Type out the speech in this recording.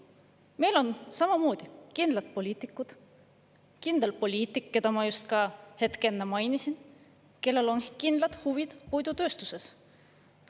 Meil on kindlad poliitikud, kindel poliitik, keda ma just enne mainisin, kellel on samamoodi kindlad huvid puidutööstuses.